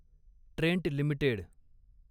Trent limited